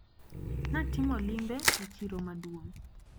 Natimo limbe e chiro maduong`